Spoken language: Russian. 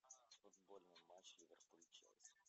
футбольный матч ливерпуль челси